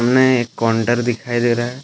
में एक काउंटर दिखाई दे रहा है।